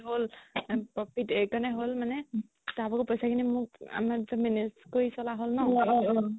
হ'ল এইকাৰণে হ'ল মানে তাৰ ভাগৰ পইচা খিনি মোক manage কৰি চলা হ'ল ন